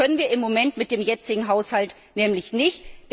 Das können wir im Moment mit dem jetzigen Haushalt nämlich nicht.